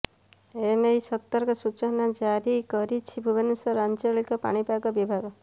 ଏନେଇ ସତର୍କ ସୂଚନା ଜାରି କରିଛି ଭୁବନେଶ୍ୱର ଆଞ୍ଚଳିକ ପାଣିପାଗ ବିଭାଗ